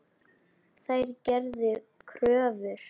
Þær gerðu kröfur.